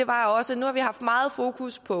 var også at nu har vi haft meget fokus på